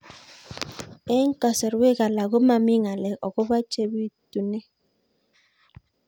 Eng' kasarwek alak ko mami ng'alek akopo ole pitunee